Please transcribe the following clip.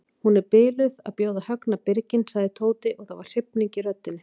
Hún er biluð að bjóða Högna birginn sagði Tóti og það var hrifning í röddinni.